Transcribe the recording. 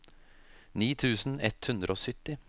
ni tusen ett hundre og sytti